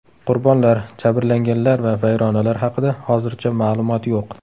Qurbonlar, jabrlanganlar va vayronalar haqida hozircha ma’lumot yo‘q.